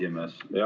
Hea esimees!